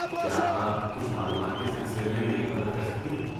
کیا آپ کچھ معلومات کے سلسلے میں میری مدد کر سکتی ہیں؟